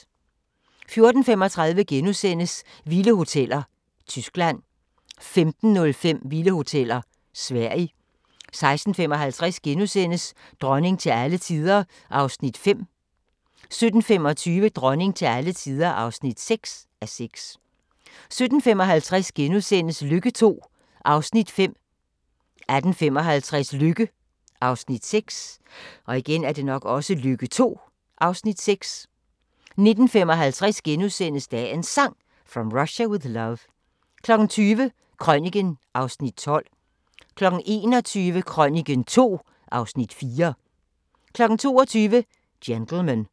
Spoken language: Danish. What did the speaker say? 14:35: Vilde hoteller: Tyskland * 15:05: Vilde hoteller: Sverige 16:55: Dronning til alle tider (5:6)* 17:25: Dronning til alle tider (6:6) 17:55: Lykke II (5:18)* 18:55: Lykke (6:18) 19:55: Dagens Sang: From Russia With Love * 20:00: Krøniken (Afs. 12) 21:00: Krøniken II (Afs. 4) 22:00: Gentlemen